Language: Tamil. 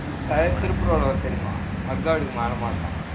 tire தெரியுமா? mud guard க்கு மேல மாட்டலாம்.